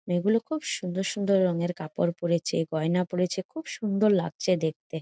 মেয়ে গুলো খুব সুন্দর সুন্দর রঙের কাপড় পরেছে গয়না পরেছে খুব সুন্দর লাগছে দেখতে।